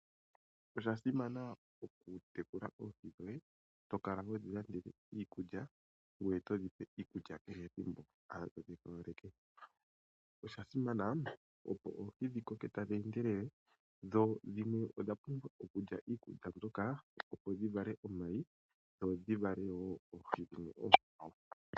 Osha simana okutekula oohi dhoye, to kala ho dhi landele iikulya ngoye to dhi pe iikulya kehe ethimbo. Osha pumbiwa dhi koke tadhi endelele dho dhimwe odha pumbwa okulya iikulya mbyoka opo dhi vale omayi dhi indjipale.